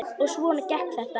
Og svona gekk þetta.